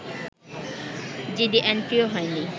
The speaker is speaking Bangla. জিডি এন্ট্রিও হয়নি